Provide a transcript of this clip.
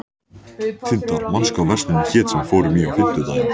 Tindar, manstu hvað verslunin hét sem við fórum í á fimmtudaginn?